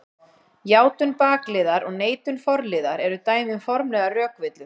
Játun bakliðar og neitun forliðar eru dæmi um formlegar rökvillur.